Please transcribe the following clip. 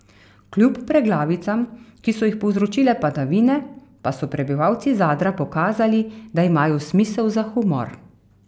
Kljub preglavicam, ki so jih povzročile padavine, pa so prebivalci Zadra pokazali, da imajo smisel za humor.